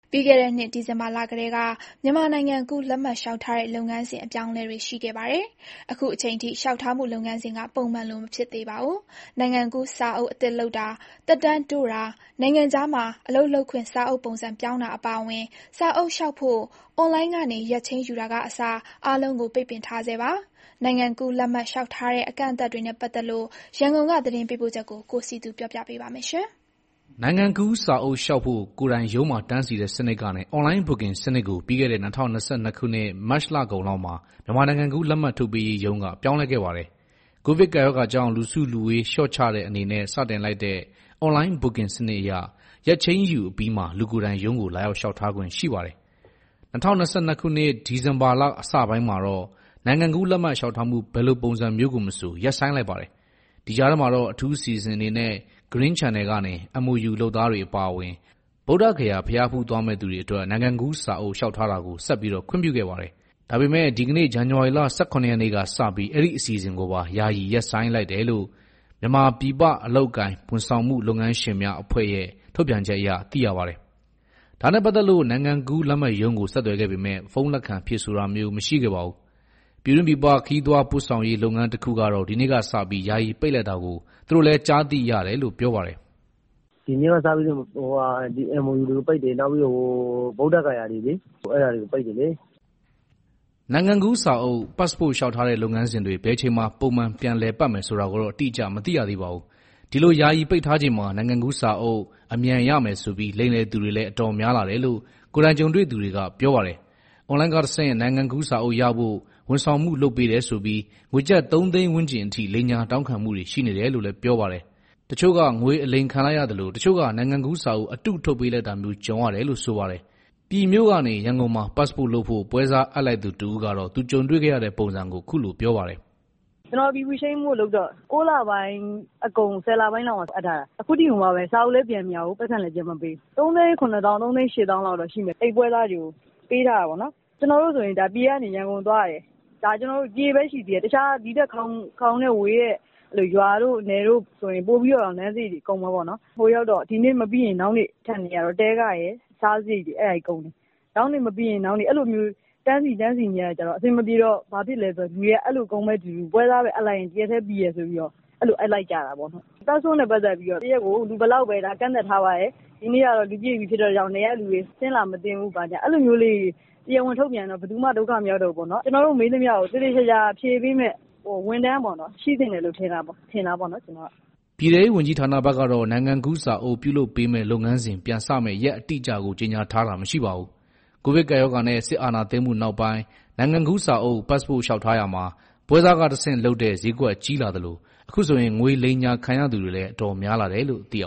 ပြီးခဲ့တဲ့နှစ် ဒီဇင်ဘာလကတည်းက မြန်မာနိုင်ငံကူးလက်မှတ်လျှောက်ထားမှုလုပ်ငန်းစဉ်အပြောင်းအလဲတွေရှိခဲ့ပြီး၊ အခုအချိန်အထိ လျှောက်ထားမှုလုပ်ငန်းစဉ်က ပုံမှန်လိုမဖြစ်သေးပါဘူး။ နိုင်ငံကူးစာအုပ်အသစ်လုပ်တာ၊ သက်တမ်းတိုးတာ နိုင်ငံခြားမှာအလုပ်လုပ်ခွင့်စာအုပ်ပုံစံပြောင်းတာအပါအဝင် စာအုပ်လျှောက်ဖို့ အွန်လိုင်းကနေ ရက်ချိန်းယူတာကအစ အားလုံးကို ပိတ်ပင်ထားဆဲပါ။ နိုင်ငံကူးလက်မှတ်လျှောက်ထားမှုအကန့်အသတ်တွေနဲ့ပတ်သက်လို့ ရန်ကုန်က သတင်းပေးပို့ချက်ကို ကိုစည်သူပြောပြမှာပါ။ နိုင်ငံကူးစာအုပ် လျှောက်ဖို့ ကိုယ်တိုင် ရုံးမှာတန်းစီတဲ့ စနစ်ကနေ အွန်လိုင်းဘွတ်ကင်စနစ်ကို ပြီးခဲ့တဲ့ ၂၀၂၂ ခုနှစ် မတ်လကုန်လောက်မှာ မြန်မာနိုင်ငံကူးလက်မှတ်ထုတ်ပေးရေးရုံးက ပြောင်းလဲခဲ့ပါတယ်။ ကိုဗစ်ကပ်ရောဂါကြောင့် လူစုလူဝေး လျှော့ချတဲ့အနေနဲ့ စတင်လိုက်တဲ့ အွန်လိုင်းဘွတ်ကင် စနစ်အရ ရက်ချိန်းယူပြီးမှာ လူကိုယ်တိုင်ရုံးကိုလာရောက်လျှောက်ထားခွင့်ရှိပါတယ်။ ၂၀၂၂ ခုနှစ် ဒီဇင်ဘာလ အစပိုင်းမှာတော့ နိုင်ငံကူးလက်မှတ် လျှောက်ထားမှု ဘယ်လိုပုံစံမျိုးကိုမဆို ယာယီရပ်ဆိုင်းလိုက်ပါတယ်။ ဒီကြားထဲမှာတော့ အထူးအစီအစဉ် အနေနဲ့ Green Channel ကနေ MOU လုပ်သားတွေ အပါအဝင် ဗုဒ္ဓဂါယာ ဘုရားဖူးသွားမယ့်သူတွေအတွက် နိုင်ငံကူးစာအုပ်လျှောက်ထားတာကို ဆက်ပြီးခွင့်ပြုခဲ့ပါတယ်။ ဒါပေမယ့် ဒီကနေ့ ဇန်နဝါရီလ ၁၇ ရက်နေ့ကစပြီး အဲဒီ့ အစီအစဉ်ကိုပါ ယာယီရပ်ဆိုင်းလိုက်တယ်လို့ မြန်မာပြည်ပ အလုပ်အကိုင် ဝန်ဆောင်မှု လုပ်ငန်းရှင်များ အဖွဲ့ချုပ်ရဲ့ ထုတ်ပြန်ချက်အရ သိရပါတယ်။ ဒါနဲ့ပတ်သက်လို့ နိုင်ငံကူးလက်မှတ်ရုံးကို ဆက်သွယ်ခဲ့ပေမယ့် ဖုန်းလက်ခံ ဖြေဆိုတာမျိုး မရှိခဲ့ပါဘူး။ ပြည်တွင်း၊ ပြည်ပ ခရီးသွားပို့ဆောင်ရေး လုပ်ငန်းတခုကတော့ ဒီနေ့ကစပြီး ယာယီပိတ်လိုက်တာကို သူတို့လည်း ကြားသိရတယ်လို့ ပြောပါတယ်။ "ဒီနေ့က စပြီးတော့ MOU ပိတ်တယ်။ နောက်တခုက ဗုဒ္ဓဂါယာ။ အဲဒါတွေကို ပိတ်တယ်လေ။" နိုင်ငံကူးစာအုပ် လျှောက်ထားတဲ့ လုပ်ငန်းစဉ်တွေ ဘယ်အချိန်မှာ ပုံမှန်ပြန်လည်ပတ်မယ် ဆိုတာကိုတော့ အတိအကျ မသိရသေးပါဘူး။ ဒီလို ယာယီပိတ်ထားချိန်မှာ နိုင်ငံကူးစာအုပ် အမြန်ရမယ်ဆိုပြီး လိမ်လည်သူတွေလည်း အတော်များလာတယ်လို့ ကိုယ်တိုင်ကြုံတွေ့သူတွေက ပြောပါတယ်။ အွန်လိုင်းကတဆင့် နိုင်ငံကူးစာအုပ်ရဖို့ ဝန်ဆောင်မှုလုပ်ပေးတယ်ဆိုပြီး ငွေကျပ် သုံးသိန်းဝန်းကျင်အထိ လိမ်ညာတောင်းခံမှုတွေရှိနေတယ်လို့ ပြောပါတယ်။ တချို့က ငွေအလိမ်ခံလိုက်ရသလို၊ တချို့က နိုင်ငံကူးစာအုပ်အတုထုတ်ပေးတာမျိုး ကြုံရတယ်လို့ ဆိုပါတယ်။ ပြည်ကနေ ရန်ကုန်မှာ ပက်စ်ပို့လုပ်ဖို့ ပွဲစားအပ်လိုက်သူ တဦးကတော့ သူကြုံတွေ့ခဲ့ရတဲ့ ပုံစံကို အခုလိုပြောပါတယ်။ "ကျနော် PV ပြောင်းဖို့လုပ်တော့ ၉ လပိုင်းအကုန် ၁၀ လပိုင်းလောက်မှာ အပ်ထားတာ။ အခုထိကို စာအုပ်လည်း ပြန်မရဘူး၊ ပိုက်ဆံလည်း ပြန်မပေးဘူး။ အဲဒီပွဲစားတွေကို ပေးထားရတာက ၃၇၀,၀၀၀ ဝန်းကျင်လောက် ရှိမယ်။ ကျနော်တို့ဆိုရင် ပြည် ကနေ ရန်ကုန် သွားရတယ်။ ဒီထက် ခေါင်တဲ့ ဝေးတဲ့ ရွာတွေ၊ နယ်တွေဆို ပိုပြီးတော့ လမ်းစရိတ်တွေ ကုန်တာပေါ့နော်။ ဟိုရောက်တော့ ဒီနေ့မပြီးရင် နောက်နေ့ ထပ်နေရတော့ တည်းခရယ်၊ စားစရိတ်တွေ ကုန်တယ်။ ဒီနေ့ မပြီးရင် နောက်နေ့၊ အဲလိုတွေ တန်းစီနေရတာ အဆင်မပြေတော့ လူတွေက အဲလိုကုန်မယ့် အတူတူ ပွဲစားအပ်လိုက်ရင် ၁ရက်ထဲ ပြီးတယ်ဆိုပြီးတော့ အဲလို အပ်လိုက်ကြတာပေါ့။ ပက်စ်ပို့နဲ့ ပတ်သက်ပြီးတော့ တရက်ကို လူဘယ်လောက်ပဲ ကန့်သတ်ထားပါတယ်၊ ဒီနေ့ကတော့ လူပြည့်ပြီဖြစ်လို့ နယ်ကလူတွေ ဆင်းလာမသင့်ဘူး၊ အဲလိုမျိုးလေးတွေ တရားဝင်ထုတ်ပြန်ရင် ဘယ်သူမှ ဒုက္ခမရောက်တော့ ဘူးပေါ့နော်။ ကျနော်တို့ မေးသမျှကို သေသေချာချာ ဖြေပေးမယ့် ဝန်ထမ်းတော့ ရှိသင့်တယ်လို့ ထင်တာပေါ့နော်။" ပြည်ထဲရေးဝန်ကြီး ဌာနဘက်ကတော့ နိုင်ငံကူးစာအုပ် ပြုလုပ်ပေးမယ့်လုပ်ငန်းစဉ် ပြန်စမယ့် ရက်အတိအကျကို ကြေညာထားတာ မရှိပါဘူး။ ကိုဗစ်ကပ်ရောဂါနဲ့ စစ်အာဏာသိမ်းမှုနောက်ပိုင်း နိုင်ငံကူးစာအုပ်လျှောက်ထားရာမှာ ပွဲစားကတဆင့်လုပ်တဲ့ ဈေးကွက်ကြီးလာသလို၊ အခုဆိုရင် ငွေ လိမ်ညာခံရသူတွေလည်း အတော်များလာတယ်လို့ သိရပ